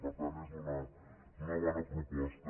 per tant és una bona proposta